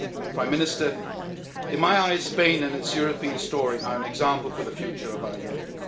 Prime Minister, in my eyes, Spain and its European story are an example for the future of our Union.